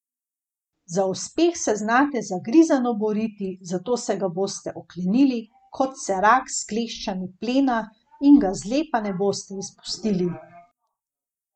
Za uspeh se znate zagrizeno boriti, zato se ga boste oklenili, kot se rak s kleščami plena, in ga zlepa ne boste izpustili.